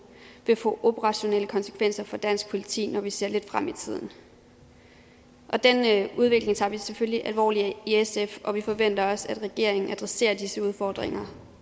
vil få operationelle konsekvenser for dansk politi når vi ser lidt frem i tiden den udvikling tager vi selvfølgelig alvorligt i sf og vi forventer også at regeringen adresserer disse udfordringer